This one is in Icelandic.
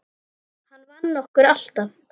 Hann vann okkur alltaf.